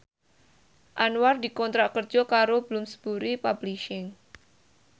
Anwar dikontrak kerja karo Bloomsbury Publishing